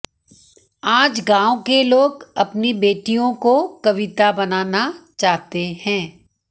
आज गांव के लोग अपनी बेटियों को कविता बनाना चाहते हैं